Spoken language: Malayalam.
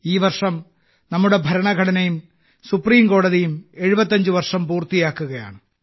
ഈ വർഷം നമ്മുടെ ഭരണഘടനയും സുപ്രീം കോടതിയും 75 വർഷം പൂർത്തിയാക്കുകയാണ്